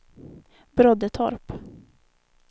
Broddetorp